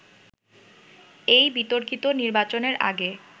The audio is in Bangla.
এই বিতর্কিত নির্বাচনের আগে